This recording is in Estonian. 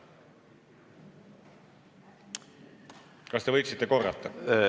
Kas te võiksite korrata?